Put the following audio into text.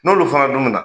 N'olu fana dun bɛna